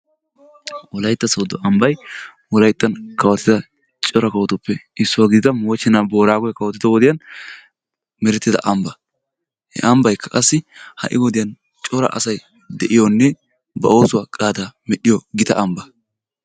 wolaytta soodo ambbay wolayttan kawottida cora kawottida kawottuppe issuwa gididda moochenaa booragoy kawotiddo wode meretida amba, he ambbaykka qassi ha'i wodiya cora asay de'iyoonne ba oosuwa qaada medhiyo gita amba.